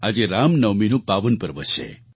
આજે રામનવમીનું પાવન પર્વ છે